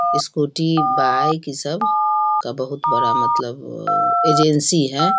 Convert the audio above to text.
Scooty bike की सब का बहुत बड़ा मतलब अ एजेंसी है।